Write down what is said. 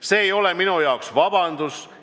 See ei ole minu arvates vabandus.